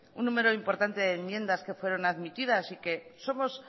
un número importante de enmiendas que fueron admitidas y que somos